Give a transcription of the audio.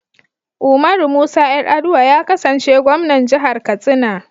Umaru Musa Yar'adua ya kasance Gwamnan Jihar Katsina.